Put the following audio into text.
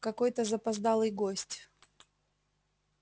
какой-то запоздалый гость